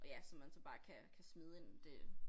Og ja som man så bare kan kan smide ind det